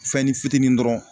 Fɛnni fitinin dɔrɔn.